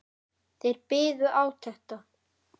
Þeir biðu átekta.